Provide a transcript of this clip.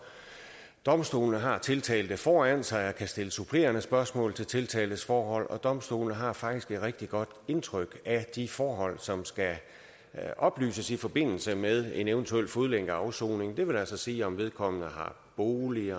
domstolen har tiltalte foran sig og kan stille supplerende spørgsmål om tiltaltes forhold og domstolen har faktisk et rigtig godt indtryk af de forhold som skal oplyses i forbindelse med en eventuel fodlænkeafsoning det vil altså sige om vedkommende har bolig